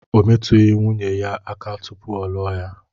O métughị nwunye ya aka tụpụ ọ lụọ ya